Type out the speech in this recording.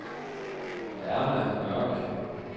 Erna Mørk